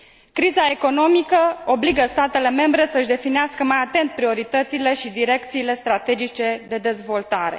Criza economică obligă statele membre să și definească mai atent prioritățile și direcțiile strategice de dezvoltare.